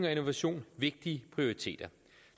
og innovation vigtige prioriteter